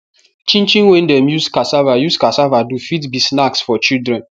chin chin wey dem use casava use casava do fit be snacks for children